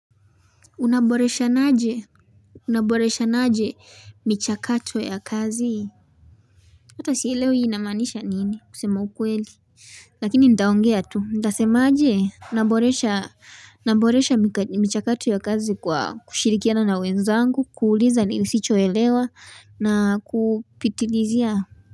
Unaboreshanaje, unaboreshanaje michakato ya kazi? Hata sielewi hii inamaanisha nini, kusema ukweli lakini nitaongea tu. Nitasema aje? Naboresha naboresha michakato ya kazi kwa kushirikiana na wenzangu, kuuliza nisichoelewa na kupitilizia.